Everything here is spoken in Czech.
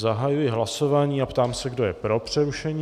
Zahajuji hlasování a ptám se, kdo je pro přerušení.